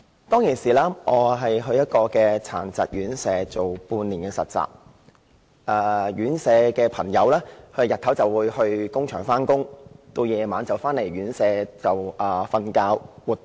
當時我前往殘疾院舍實習半年，院舍的朋友日間會到工場工作，晚上回到院舍睡覺和活動。